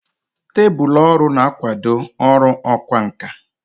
Tebụl ọrụ na-akwado ọrụ ọkwá nkà.